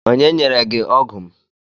Onye nyere gị ọgụ m?